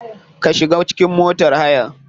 Ka shiga cikin motar hayan.